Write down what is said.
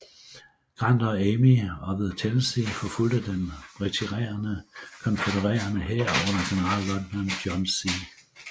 Grant og Army of the Tennessee forfulgte den retirerende konfødererede hær under generalløjtnant John C